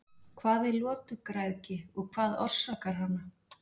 Hvað er lotugræðgi og hvað orsakar hana?